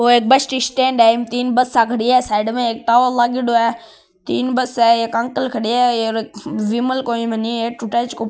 ओ bus stand है तीन बसा खड़ी है साइड में एक तालों लागेडो है तीन बस है एक अंकल खड़े है --